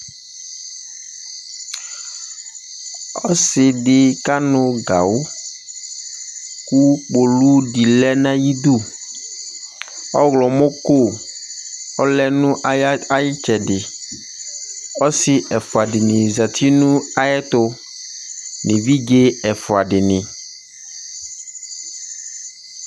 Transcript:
Ɔsɩɖɩ ƙanʋ gawʋ ,ƙʋ ƙpoluɖɩ lɛ nʋ aƴiɖuƆɣlɔmɔƙo ɔlɛ nʋaƴɩtslɛɖɩƆsɩ ɛƒʋaɖɩnɩ zati nʋ aƴɛtʋ nʋ eviɖze ɛƒʋaɖɩnɩ